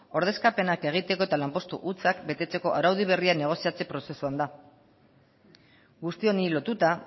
ordezkapenak egiteko eta lanpostu hutsak betetzeko araudi berria negoziatze prozesuan da guzti honi lotuta